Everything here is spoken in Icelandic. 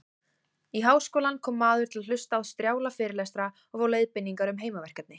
Í háskólann kom maður til að hlusta á strjála fyrirlestra og fá leiðbeiningar um heimaverkefni.